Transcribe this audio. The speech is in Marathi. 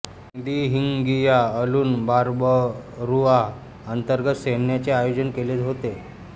दिहिंगिया अलून बार्बरुआ अंतर्गत सैन्याचे आयोजन केले होते